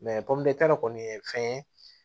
kɔni ye fɛn ye